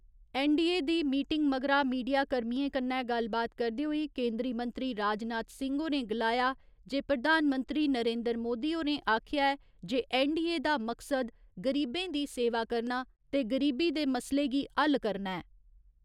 NDA दी meeting मगरा मीडियाकर्मियें कन्नै गल्लबात करदे होई केंदरी मंत्री राजनाथ सिंह होरें गलाया जे प्रधानमंत्री नरेन्द्र मोदी होरें आखेआ ऐ जे ऐन्नडीए दा मकसद, गरीबें दी सेवा करना ते गरीबी दे मसले गी हल करना ऐ।